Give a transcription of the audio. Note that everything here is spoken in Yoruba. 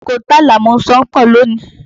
Oko ti Àlàmú ṣán pọ̀ lónìí.